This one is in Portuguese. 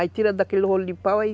Aí tira daquele rolo de pau aí,